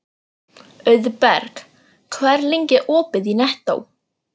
Auðberg, hvað er lengi opið í Nettó?